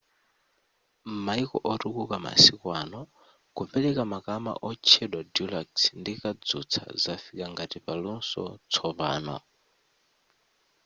m'mayiko otukuka masiku ano kupereka makama otchedwa deluxe ndi kadzutsa zafika ngati paluso tsopano